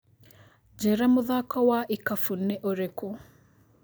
njĩira mũthako wa ikabũ nĩ ũrĩkũ